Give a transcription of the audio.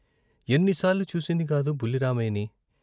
ఎన్నిసార్లు చూసిందికాదు బుల్లి రామయ్యని!